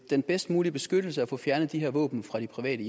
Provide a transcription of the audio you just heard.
den bedst mulige beskyttelse og få fjernet de her våben fra de private